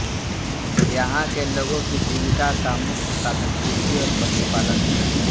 यहां के लोगों की जीविका का मुख्य साधन कृषि और पशुपालन है